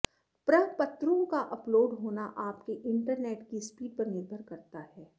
प्रपत्रों का अपलोड होना आपके इंटरनेट की स्पीड पर निर्भर करता है